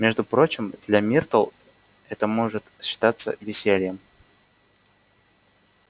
между прочим для миртл это может считаться весельем